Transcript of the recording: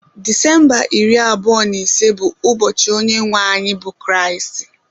Disemba iri abụọ na ise bụ ụbọchị onye nwe anyị bụ Kristi